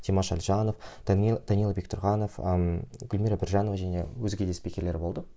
димаш әлжанов данил данил бектұрғанов ммм гүлмира биржанова және өзге де скиперлер болды